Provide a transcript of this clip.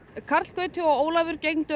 karl Gauti og Ólafur